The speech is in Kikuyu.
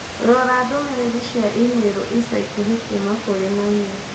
Rora ndũmĩrĩri cia i-mīrū ica ikuhĩ kuuma kũrĩ mami.